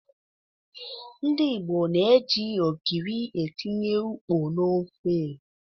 Ndị Igbo na-eji ogiri etinye ukpo n'ofe.